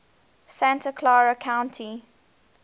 santa clara county